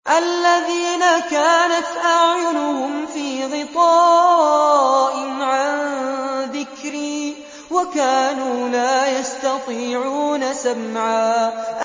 الَّذِينَ كَانَتْ أَعْيُنُهُمْ فِي غِطَاءٍ عَن ذِكْرِي وَكَانُوا لَا يَسْتَطِيعُونَ سَمْعًا